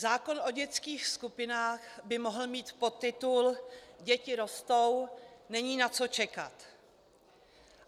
Zákon o dětských skupinách by mohl mít podtitul: Děti rostou, není na co čekat.